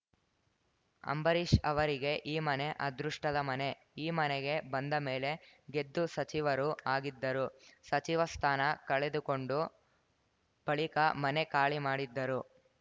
ಅಂಬರೀಷ್‌ ಅವರಿಗೆ ಈ ಮನೆ ಅದೃಷ್ಟದ ಮನೆ ಈ ಮನೆಗೆ ಬಂದ ಮೇಲೆ ಗೆದ್ದು ಸಚಿವರೂ ಆಗಿದ್ದರು ಸಚಿವ ಸ್ಥಾನ ಕಳೆದುಕೊಂಡು ಬಳಿಕ ಮನೆ ಖಾಲಿ ಮಾಡಿದ್ದರು